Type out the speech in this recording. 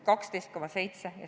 12,7 vs.